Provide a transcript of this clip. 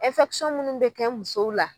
munnu bɛ kɛ musow la